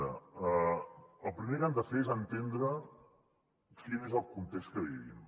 una el primer que han de fer és entendre quin és el context que vivim